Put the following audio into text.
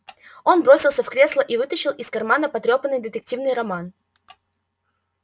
он бросился в кресло и вытащил из кармана потрёпанный детективный роман